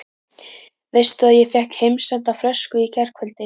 Veistu að ég fékk heimsenda flösku í gærkvöldi?